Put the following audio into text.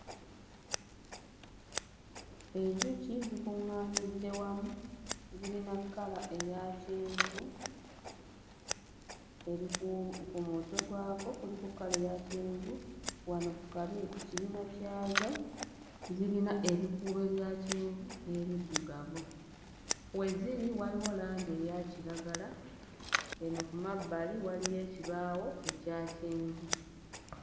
Enjuki zikuŋŋaanidde wamu zirina kkala eya kyenvu eri ku... ku mutwe gwako kuliko kkala eya kyenvu wano kabi ku kibina kyazo zirina ebikuubo ebya kyenvu n'ebiddugavu. We ziri waliwo langi eya kiragala, eno ku mabbali waliyo ekibaawo ekya kyenvu.